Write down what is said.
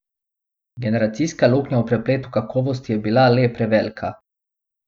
Generacijska luknja v prepletu kakovosti je bila le prevelika.